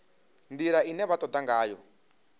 ndila ine vha toda ngayo